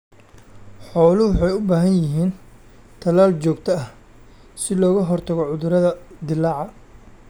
Xooluhu waxay u baahan yihiin talaal joogto ah si looga hortago cudurrada dillaaca.